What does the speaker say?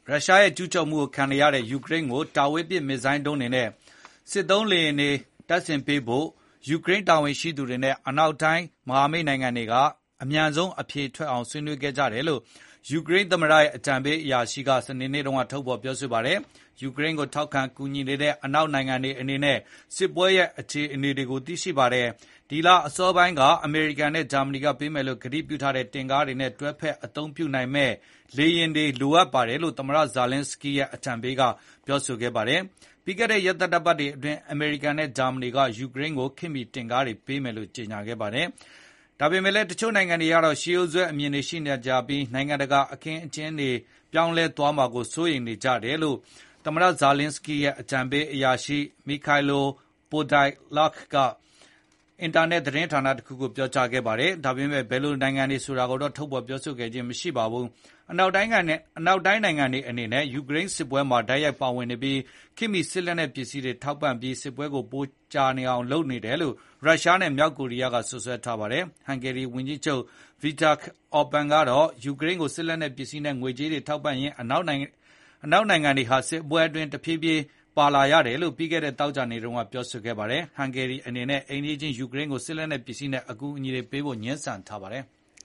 ရုရှားရဲ့ ကျူးကျော်မှုကို ခံနေရတဲ့ ယူကရိန်းကို တာဝေးပစ် မစ်ဇိုင်းဒုံးတွေနဲ့ စစ်သုံးလေယာဉ်တွေ တပ်ဆင်ပေး ဖို့ ယူကရိန်း တာဝန်ရှိသူတွေနဲ့ အနောက်တိုင်း မဟာမိတ်နိုင်ငံတွေ အမြန်ဆုံး အဖြေထွက်အောင် ဆွေးနွေးခဲ့ကြတယ်လို့ ယူကရိန်း သမ္မတ ရဲ့ အကြံပေး အရာရှိက စနေနေ့ က ပြောပါတယ်။ ယူကရိန်းကို ထောက်ခံကူညီနေတဲ့ အနောက်နိုင်ငံတွေအနေနဲ့ စစ်ပွဲရဲ့ အခြေအနေကို သိရှိပါတယ်။ ဒီလအစောပိုင်းက အမေရိကန်နဲ့ ဂျာမဏီက ပေးမယ်လို့ ကတိပြု့ထားတဲ့ တင့်ကားတွေနဲ့ တွဲဖက်အသုံးပြုနိုင်မယ့် လေယာဉ်တွေလို အပ်ပါတယ်လို့ သမ္မတ ဇာလင်းစကီးရဲ့ အကြံပေး Mykhailo Podolyak က ပြောပါတယ်။ ပြီးခဲ့တဲ့ရက်သတ္တပတ်အတွင်း အမေရိကန်နဲ့ ဂျာမဏီက ယူကရိန်းကို ခေတ်မီ တင့်ကားတွေ ပေးမယ်လို့ ကြေညာခဲ့ပါတယ်။ ဒါပေမယ့်လည်း တချို့နိုင်ငံတွေကတော့ ရှေးရိုးစွဲအမြင်တွေရှိနေကြပြီး နိုင်ငံတကာ အခင်းကျင်းတွေပြောင်းလဲသွားမှာ စိုးရိမ်နေကြတယ်လို့လည်း အကြံရေးအရာရှိ Podolyak က Freedom အင်တာနက်သတင်း ဌာနကို ပြောပါတယ်။ ဒါပေမယ့် ဘယ်နိုင်ငံဆိုတာကိုတော့ ထုတ်ဖေါ်ပြောဆိုခဲ့ခြင်းမရှိပါဘူး။ အနောက်နိုင်ငံတွေအနေနဲ့ ယူကရိန်းစစ်ပွဲမှာ တိုက်ရိုက်ဝင်ပါနေပြီး ခေတ်မီ စစ်လက်နက်ပစ္စည်းတွေထောက်ပံ့ပြီး စစ်ပွဲပိုမိုကြာရှည်အောင်လုပ်နေတယ်လို့ ရုရှားနဲ့ မြောက်ကိုရီးယား စွပ်စွဲထားပါတယ်။ ဟန်ဂေရီဝန်ကြီးချုပ် Viktor Orban ကတော့ ယူကရိန်းကို စစ်လက်နက်စ္စည်းနဲ့ ငွေကြေးတွေထောက်ပံ့ရင်း အနောက်တိုင်း နိုင်ငံတွေဟာ စစ်ပွဲအတွင်း တဖြည်းဖြည်းပါလာရတယ်လို့ ပြီးခဲ့တဲ့ သောကြာနေ့က ပြောပါတယ်။ ဟန်ဂေရီအနေနဲ့ အိမ်နီးခြင်း ယူကရိန်းကို စစ်လက်နက်ပစ္စည်းနဲ့ အကူအညီတွေပေးဖို ငြင်းဆန်ထားပါတယ်။